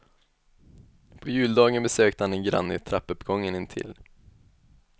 På juldagen besökte han en granne i trappuppgången intill.